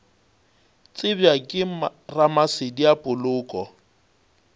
tsebja ke ramasedi a poloko